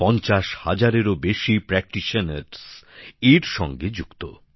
৫০ হাজারেরও বেশি চিকিৎসক এর সঙ্গে যুক্ত